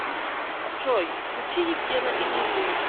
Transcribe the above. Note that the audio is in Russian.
джой включи евгена иримию